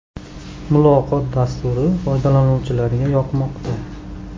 “Muloqot” dasturi foydalanuvchilarga yoqmoqda.